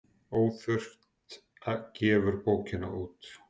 Óþurft gefur bókina út.